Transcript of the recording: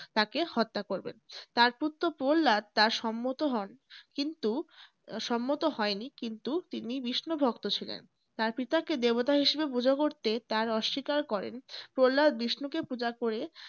তাকে হত্যা করবেন। তার পুত্র প্রহ্লাদ তার সম্মত হন কিন্তু সম্মত হয়নি কিন্তু তিনি বিষ্ণুভক্ত ছিলেন। তার পিতাকে দেবতা হিসেবে পূজো করতে তার অস্বীকার করেন। প্রহ্লাদ বিষ্ণুকে পূজা করে তাকে হত্যা করবেন।